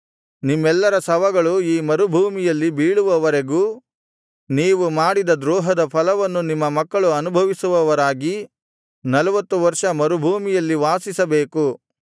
ನಿಮ್ಮೆಲ್ಲರ ಶವಗಳು ಈ ಮರುಭೂಮಿಯಲ್ಲಿ ಬೀಳುವವರೆಗೂ ನೀವು ಮಾಡಿದ ದ್ರೋಹದ ಫಲವನ್ನು ನಿಮ್ಮ ಮಕ್ಕಳು ಅನುಭವಿಸುವವರಾಗಿ ನಲ್ವತ್ತು ವರ್ಷ ಮರುಭೂಮಿಯಲ್ಲಿ ವಾಸಿಸಬೇಕು